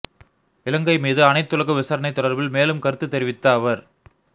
இலங்கை மீது அனைத்துலக விசாரணை தொடர்பில் மேலும் கருத்துத் தெரிவித்த அவர்